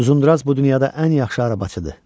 Uzunduraz bu dünyada ən yaxşı arabasıdır.